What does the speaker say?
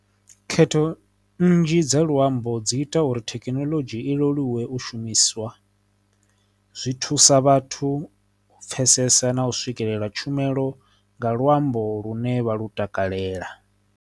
Khetho nnzhi dza luambo dzi ita uri thekinoḽodzhi i leluwe u shumiswa zwi thusa vhathu u pfesesa na u swikelela tshumelo nga luambo lune vha lu takalela.